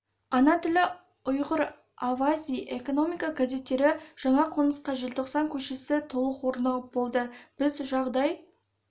ана тілі ұйғыр авази экономика газеттері жаңа қонысқа желтоқсан көшесі толық орнығып болды біз жағдай